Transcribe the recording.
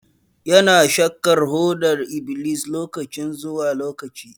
Ya na shaƙar hodar iblis lokaci zuwa lokaci.